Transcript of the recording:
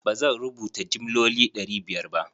ba zan rubuta jimloli ɗari biyar ba.